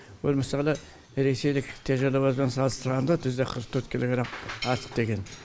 ол мысалы ресейлік те жануармен салыстырғанда жүз да қырық төрт килограмм артық деген